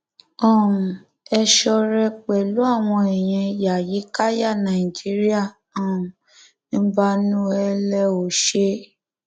um ẹ ṣọrẹ pẹlú àwọn èèyàn yàyíkáyà náíjíríà um mbanú ẹ lẹ ò ṣe